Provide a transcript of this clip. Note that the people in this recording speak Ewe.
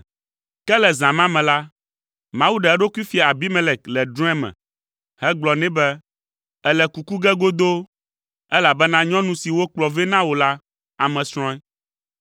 Ke le zã ma me la, Mawu ɖe eɖokui fia Abimelek le drɔ̃e me hegblɔ nɛ be, “Èle kuku ge godoo, elabena nyɔnu si wokplɔ vɛ na wò la, ame srɔ̃e.”